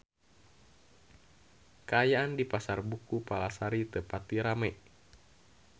Kaayaan di Pasar Buku Palasari teu pati rame